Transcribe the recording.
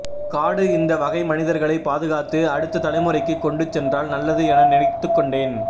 காடு இந்த வகை மனிதர்களை பாதுகாத்து அடுத்த தலைமுறைக்குக் கொண்டுசென்றால் நல்லது என நினைத்துக்கொண்டேன்